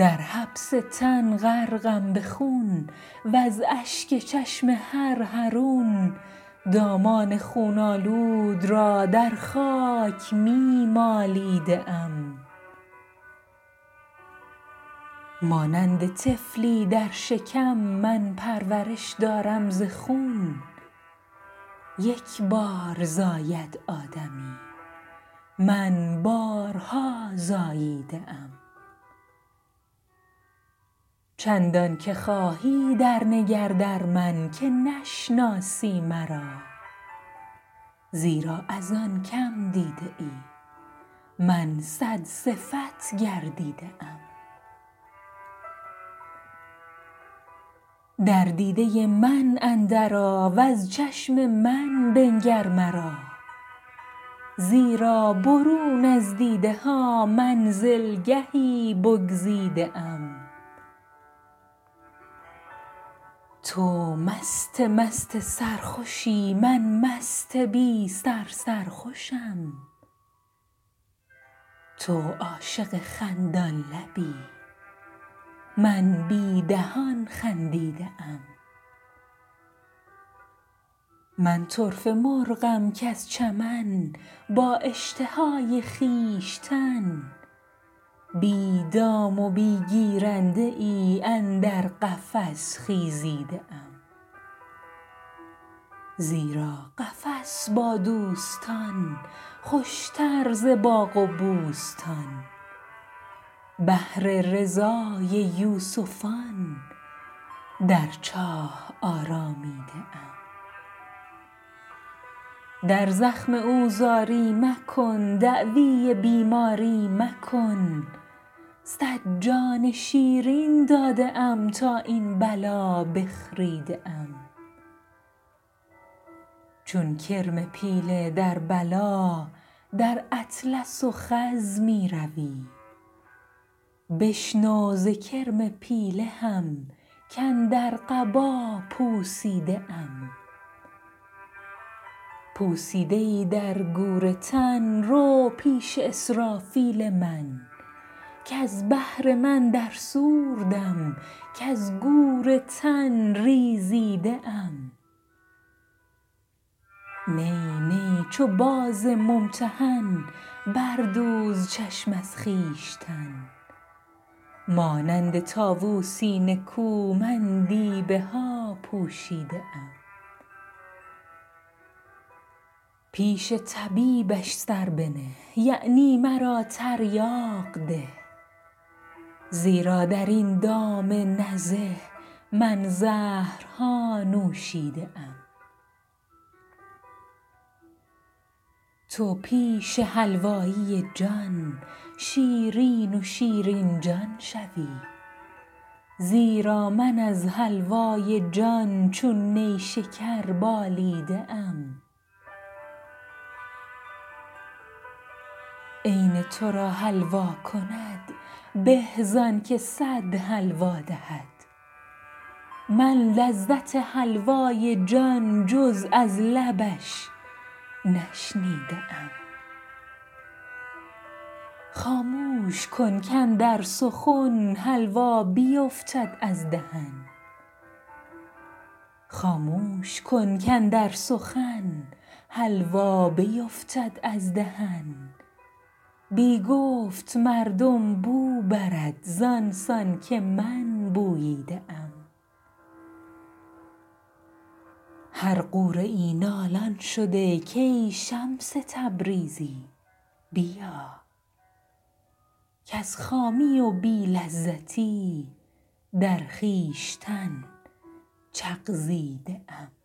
در حبس تن غرقم به خون وز اشک چشم هر حرون دامان خون آلود را در خاک می مالیده ام مانند طفلی در شکم من پرورش دارم ز خون یک بار زاید آدمی من بارها زاییده ام چندانک خواهی درنگر در من که نشناسی مرا زیرا از آن که م دیده ای من صدصفت گردیده ام در دیده من اندرآ وز چشم من بنگر مرا زیرا برون از دیده ها منزلگهی بگزیده ام تو مست مست سرخوشی من مست بی سر سرخوشم تو عاشق خندان لبی من بی دهان خندیده ام من طرفه مرغم کز چمن با اشتهای خویشتن بی دام و بی گیرنده ای اندر قفس خیزیده ام زیرا قفس با دوستان خوشتر ز باغ و بوستان بهر رضای یوسفان در چاه آرامیده ام در زخم او زاری مکن دعوی بیماری مکن صد جان شیرین داده ام تا این بلا بخریده ام چون کرم پیله در بلا در اطلس و خز می روی بشنو ز کرم پیله هم کاندر قبا پوسیده ام پوسیده ای در گور تن رو پیش اسرافیل من کز بهر من در صور دم کز گور تن ریزیده ام نی نی چو باز ممتحن بردوز چشم از خویشتن مانند طاووسی نکو من دیبه ها پوشیده ام پیش طبیبش سر بنه یعنی مرا تریاق ده زیرا در این دام نزه من زهرها نوشیده ام تو پیش حلوایی جان شیرین و شیرین جان شوی زیرا من از حلوای جان چون نیشکر بالیده ام عین تو را حلوا کند به زانک صد حلوا دهد من لذت حلوای جان جز از لبش نشنیده ام خاموش کن کاندر سخن حلوا بیفتد از دهن بی گفت مردم بو برد زان سان که من بوییده ام هر غوره ای نالان شده کای شمس تبریزی بیا کز خامی و بی لذتی در خویشتن چغزیده ام